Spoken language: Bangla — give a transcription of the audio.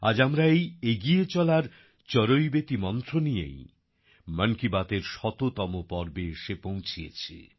আজ আমরা এই এগিয়ে চলার চরৈবতি মন্ত্র নিয়েই মন কী বাতএর শততম পর্বে এসে পৌঁছেছি